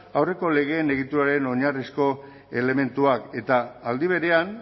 aurreko legeen egituraren oinarrizko elementuak eta aldi berean